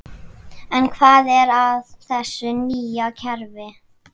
En hvað er að þessu nýja kerfi?